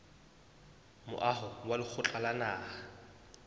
moaho wa lekgotla la naha